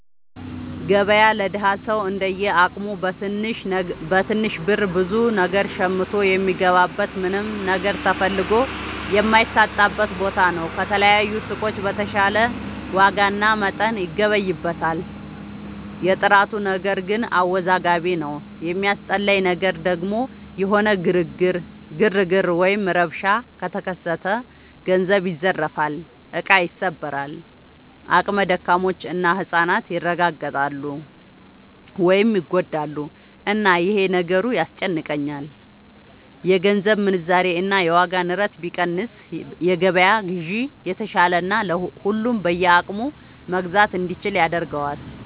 ገበያ ለደሀ ሰው እንደየ አቅሙ በትንሽ ብር ብዙ ነገር ሸምቶ የሚገባበት ምንም ነገር ተፈልጎ የማይታጣበት ቦታ ነው። ከተለያዩ ሱቆች በተሻለ ዋጋና መጠን ይገበይበታል። የጥራቱ ነገር ግን አወዛጋቢ ነው። የሚያስጠላኝ ነገር ደግሞ የሆነ ግርግር ወይም ረብሻ ከተከሰተ ገንዘብ ይዘረፋል፣ እቃ ይሰበራል፣ አቅመ ደካሞች እና ህፃናት ይረጋገጣሉ (ይጎዳሉ)፣እና ይሄ ነገሩ ያስጨንቀኛል። የገንዘብ ምንዛሬ እና የዋጋ ንረት ቢቀንስ የገበያ ግዢ የተሻለና ሁሉም በየአቅሙ መግዛት እንዲችል ያደርገዋል።